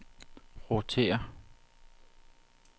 rotér